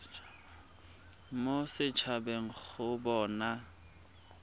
mo set habeng go bona